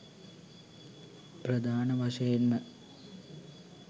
ප්‍රධාන වශයෙන්ම